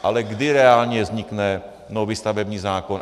Ale kdy reálně vznikne nový stavební zákon?